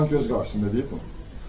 Uşaqların gözü qarşısında deyib bunu.